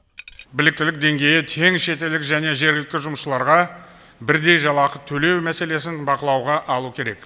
біліктілік деңгейі тең шетелдік және жергілікті жұмысшыларға бірдей жалақы төлеу мәселесін бақылауға алу керек